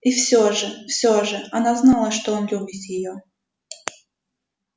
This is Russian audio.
и всё же всё же она знала что он любит её